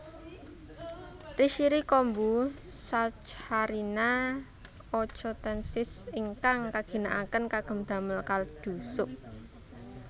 Rishiri kombu Saccharina ochotensis ingkang kaginakaken kagem damel kaldu sup